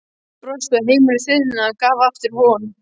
Brosti og heimurinn þiðnaði, gaf aftur von.